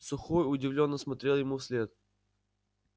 сухой удивлённо смотрел ему вслед